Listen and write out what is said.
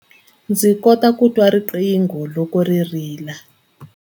Ndzi kota ku twa riqingho loko ri rila.